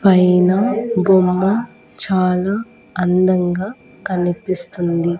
పైనా బొమ్మ చాలా అందంగా కనిపిస్తుంది.